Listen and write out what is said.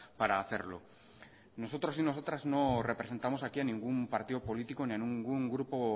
para hacerlo nosotros y nosotras no representamos aquí a ningún partido político ni a ningún grupo